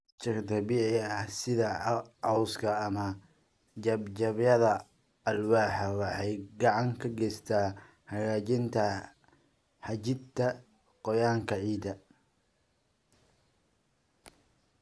Mulch-ka dabiiciga ah, sida cawska ama jajabyada alwaax, waxay gacan ka geysataa hagaajinta xajinta qoyaanka ciidda.